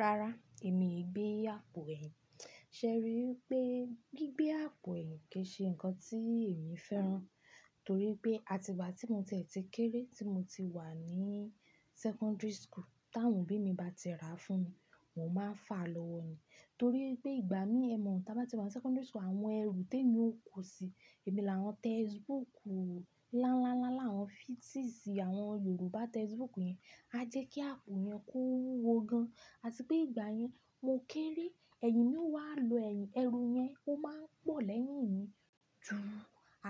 Rara, èmi ìgbé apó ẹ̀. Ṣé ẹ rí i pé gbígbé àpò ẹ̀yìn kì í ṣe nǹkan tí èmi fẹ́ràn? Torí pé àtígbà tí mo tẹ̀ ti kéré tí mo ti wà ní secondary school. Tàwọn obí mi bá ti rà fún mi, mo máa fà lọ́wọ́ ni. Torí pé ìgbà mi ẹ mọ̀, tí a bá ti wà ní secondary school àwọn ẹrù tèmi ó kọ̀ sí i. Èmi làwọn textbook lánláńlá làwọn fifties, àwọn Yorùbá textbook yẹn. A jẹ́ kí àpò yẹn kó wúwo gan. Àti pé ìgbà yẹn, mo kéré, ẹ̀yìn mi wà lọ́ ẹ̀yìn, ẹrù yẹn ó máa ń pọ̀ lẹ́yìn mi. Jù-ún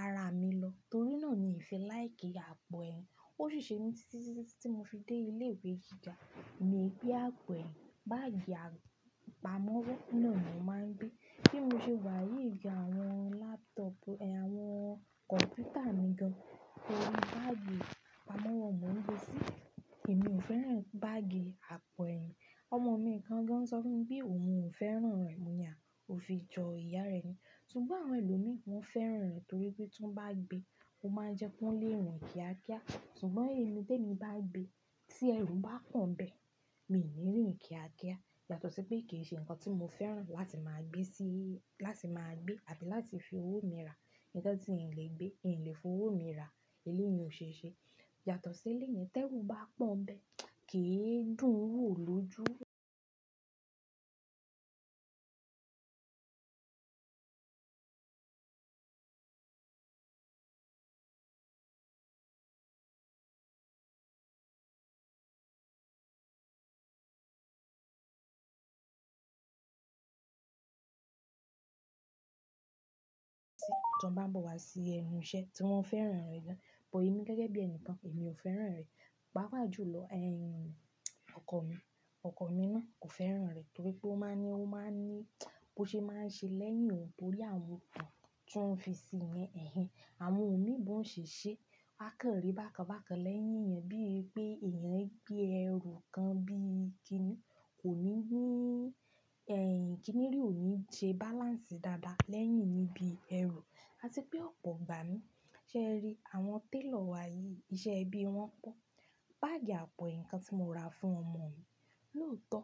ara mi lọ. Torí náà ni ìfi láì kí àpò ẹ̀yìn. Ó ṣì ṣe mí títí tí mo ti dé ilé ìwé gíga. Mi gbe apo ẹ̀yìn, báágì apamọ́wọ́ náà ni mo máa ń gbé. Bí mo ṣe wà yí gan àwọn laptop, àwọn kọ̀mpútà mi gan. Torí báágì apamọ́wọ́ mo ń gbé sí. Èmi ò fẹ́ràn báágì àpò ẹ̀yìn. Ọmọ mi kan gan sọ fún mi pé òun ò fẹ́ràn rẹ̀, mo ni àá, ó fi jọ ìyá rẹ̀ ni. Ṣùgbọ́n àwọn ẹlòmíì wọn fẹ́ràn rẹ̀ torí pé tí wọ́n bá gbé, ó máa jẹ́ kó lè rìn kíákíá. Ṣùgbọ́n èmi téèmí bá gbé, tí ẹrù bá pọ̀n bẹ́ẹ̀, mi ò ní rìn kíákíá. Yàtọ̀ sí pé kì í ṣe nǹkan tí mo fẹ́ràn láti máa gbé sí-- láti máa gbé àti láti fi owó mi rà. Ìkan tí ihn lè gbé, ihn lè fi owó mi rà, èléèyì ó ṣe é ṣe. Yàtọ̀ sí èléèyì tẹ́rù bá pọ̀n bẹ́ẹ̀, kì í dùn wò lójú. Tí wọ́n bá bọ̀ wá sí ẹnu iṣẹ́ tí wọ́n fẹ́ràn rẹ̀ gan. Bọ̀ ẹmi gẹ́gẹ́ bí ènìkàn, èmi ò fẹ́ràn rẹ̀. Pàápàá jù lọ, ẹ̀yìn ọkọ mi, ọkọ mi náà kò fẹ́ràn rẹ̀ torí pé ó máa ń ní, ó máa ń ní bó ṣe máa ń ṣe lẹ́yìn òun torí àwọn nǹkan tí wọ́n fi sí i yẹ́n ẹ̀hen. Àwọn òmí bọn ò ṣe ṣe. A kàn rí bákan bákan lẹ́yìn èèyàn bí i pé èèyàn gbé ẹrù kan bí i kiní kò ní ní-- ẹ̀yìn kiní rí ò ní jẹ́ balance dáadáa lẹ́yìn níbi ẹrù. Àti pé ọ̀pọ̀ ìgbà mi, ṣé ẹ rí àwọn tailor wá yí iṣẹ́ ibí wọn pọ́n. Báágì àpò ẹ̀yìn kan tí mo rà fún ọmọ mi, lóòótọ́,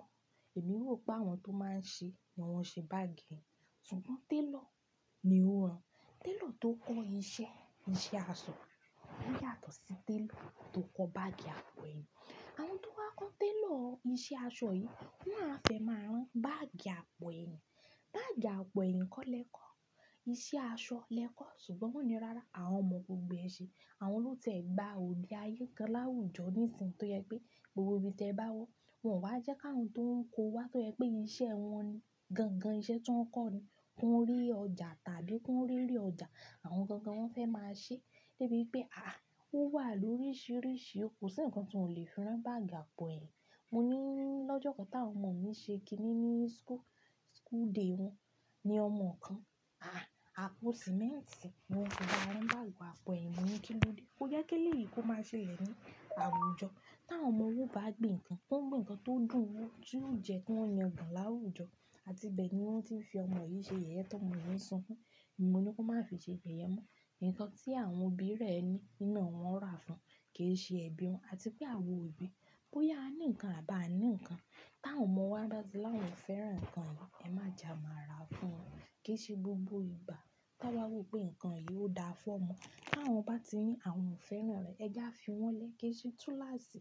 èmi ò rò pé àwọn tó máa ń ṣe ni wọ́n ṣe báágì yẹn. Ṣùgbọ́n tailor ni ó rán. Tailor tó kọ́ iṣẹ́, iṣẹ́ aṣọ ò yàtọ̀ sí tailor tó kọ́ báágì àpò ẹ̀yìn. Àwọn tó wá kọ́ tailor iṣẹ́ aṣọ yìí, wọ́n á fẹ́ máa rán báágì àpò ẹ̀yìn. Báágì àpò ẹ̀yìn kọ́ lẹ́kọ̀ọ́, iṣẹ́ aṣọ lẹ́kọ̀ọ́ ṣùgbọ́n wọ́n ní rárá, àwọn ọmọ gbogbo ẹ ṣe. Àwọn ló'tiẹ́ gba òde ayé kan láwùjọ nísìnyí tó yẹ pé gbogbo ibi tí ẹ bá wọ, wọn wá jẹ́ ká òhún tó ń kó wá tó yẹ pé iṣẹ́ wọn ni, gangan iṣẹ́ tí wọ́n kọ́ ni, kó rí ọjà tàbí kó rí rérè ọjà. Àwọn gangan wọ́n fẹ́ máa ṣe. Lébi pé àá, ó wà lórísìírísìí, ó kò sí nǹkan tí ò lè fi rán báágì àpò ẹ̀yìn. Mo ní lọ́jọ́ kan tí àwọn ọmọ mi ṣe kiní ní school, school day wọn. Ni ọmọ kan, àá, àpò sìmẹ́ǹtì ni wọ́n fi bá a rán báágì àpò ẹ̀yìn. Mo ní kí ló dé? Ó yẹ kí léyìí kó máa ṣe lẹ̀ ní àwùjọ. Tí àwọn ọmọ owó bá gbin nǹkan, wọ́n gbìn nǹkan tó dùn ún, tí yóò jẹ́ kó yan gan láwùjọ. Àti bẹ́ẹ̀ ni wọ́n ti ń fi ọmọ yìí ṣe yeye tọ́ ọmọ yìí sunkún. Èmi mo ní kó má fi ṣe yeye mo. Nǹkan tí àwọn òbí rẹ̀ ní, nína wọn rà fún, kì í ṣe ẹbí wọn. Àti pé àwọn òbí bóyá a ní nǹkan àbá a ní nǹkan. Tí àwọn ọmọ wá ba ti l'awon o fẹ́ràn nǹkan yìí, ẹ má ja má ra fún wọn. Kì í ṣe gbogbo ìgbà tí awa wo pé nǹkan yìí ó dáa fún ọmọ. Tí àwọn bá ti ní àwọn ò fẹ́ràn rẹ̀, ẹ já fi wọ́n lẹ́, kì í ṣe túnlàsì.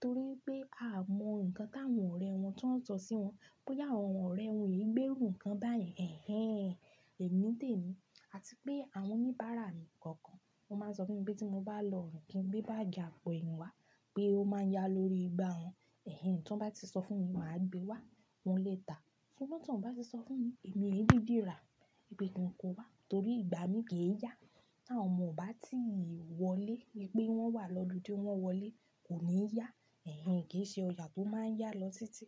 Torí pé a mọ nǹkan tí àwọn ọ̀rẹ́ wọn tí wọ́n ń sọ sí wọn. Bóyá àwọn ọ̀rẹ́ wọn yìí gbérù nǹkan báyẹn. Ẹ̀hen, èmi tẹ̀ mí. Àti pé àwọn oníbàárà mi kọ̀ọ̀kan, wọ́n máa ń sọ fún mi pé tí mo bá lọ irìǹ kìn gbé báágì àpò ẹ̀yìn wá, pé ó máa ń yá lórí igbá wọn. Ẹ̀hen, tí wọ́n bá ti sọ fún mi, màá gbé wá, wọn lè ta. Ṣùgbọ́n tí wọ́n bá ti sọ fún mi, èmi ẹ didì ra, wipe kin kò wá torí ìgbà mi kì í yá. Tí àwọn ọmọ bá ti wọlé wípé wọ́n wà lọludé, wọ́n wọlé, kò ní yá. Ẹ̀hen, kì í ṣe ọjà tó máa ń yá lọ títí.